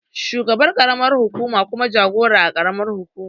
Shugaban ƙaramar hukuma jagora a ƙaramar hukuma